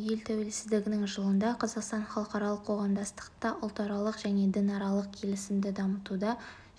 ел тәуелсіздігінің жылында қазақстан халықаралық қоғамдастықта ұлтаралық және дінаралық келісімді дамытуда